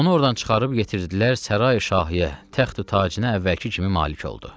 Onu ordan çıxarıb yetirdilər sərayi şahiyə, təxti tacına əvvəlki kimi malik oldu.